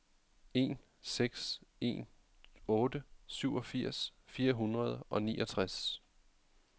en seks en otte syvogfirs fire hundrede og niogtres